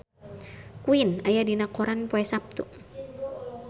Queen aya dina koran poe Saptu